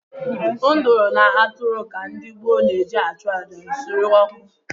Nduru na atụrụ ka ndị gboo na-eji achụ àjà nsure ọkụ.